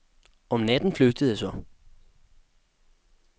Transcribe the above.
Om natten flygtede jeg så.